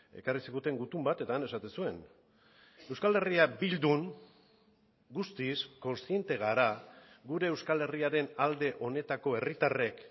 ekarri ziguten gutun bat eta han esaten zuen euskal herria bildun guztiz kontziente gara gure euskal herriaren alde honetako herritarrek